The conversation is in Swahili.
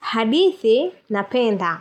Hadithi napenda.